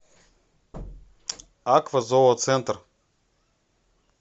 аква зооцентр